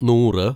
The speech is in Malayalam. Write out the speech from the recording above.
നൂറ്